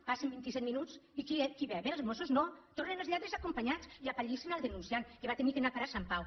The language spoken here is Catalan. passen vint·i·set minuts i qui ve vénen els mossos no tornen els lladres acompanyats i apa·llissen el denunciant que va haver d’anar a parar a sant pau